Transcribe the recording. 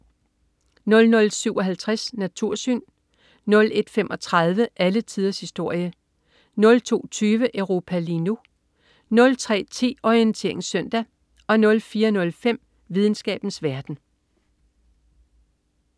00.57 Natursyn* 01.35 Alle tiders historie* 02.20 Europa lige nu* 03.10 Orientering Søndag* 04.05 Videnskabens verden*